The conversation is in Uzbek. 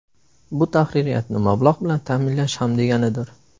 Bu tahririyatni mablag‘ bilan ta’minlash ham deganidir.